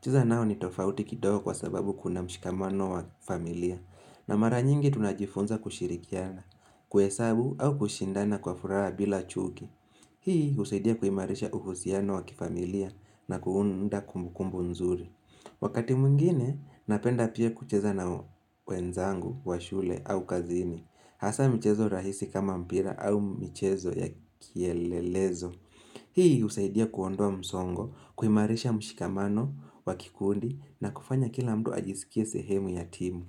Cheza nao ni tofauti kidogo kwa sababu kuna mshikamano wa familia. Na mara nyingi tunajifunza kushirikiana. Kuhesabu au kushindana kwa furaha bila chuki. Hii husaidia kuimarisha uhusiano wa kifamilia na kuunda kumbukumbu nzuri. Wakati mwingine, napenda pia kucheza na wenzangu, wa shule au kazini. Hasa mchezo rahisi kama mpira au michezo ya kielelezo. Hii husaidia kuondoa msongo, kuimarisha mshikamano wa kikundi na kufanya kila mtu ajisikie sehemu ya timu.